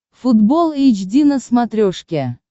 футбол эйч ди на смотрешке